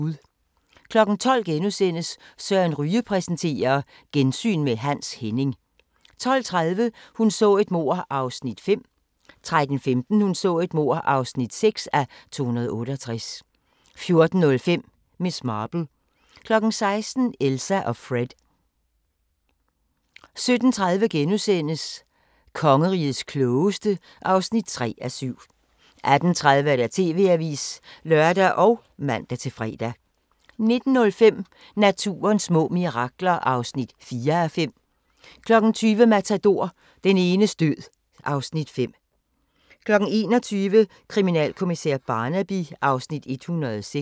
12:00: Søren Ryge præsenterer: Gensyn med Hans Henning * 12:30: Hun så et mord (5:268) 13:15: Hun så et mord (6:268) 14:05: Miss Marple 16:00: Elsa & Fred 17:30: Kongerigets klogeste (3:7)* 18:30: TV-avisen (lør og man-fre) 19:05: Naturens små mirakler (4:5) 20:00: Matador – Den enes død (Afs. 5) 21:00: Kriminalkommissær Barnaby (Afs. 106)